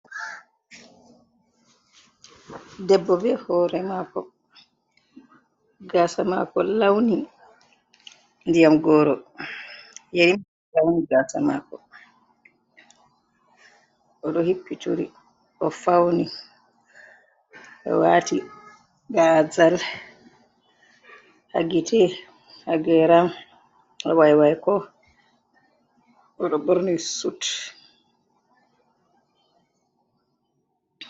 Ɗebbo be hore mako. gasa mako launi ndiyam goro. Yerimai lawni gasa mako. Oɗo hippi turi o fauni o wati gazal hagite hageran waywaiko oɗo borni sut.